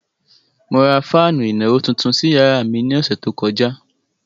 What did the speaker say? Mo ra fáànù ìnàró tuntun sí yàrá mi ní ọ̀sẹ̀ tó kọjá.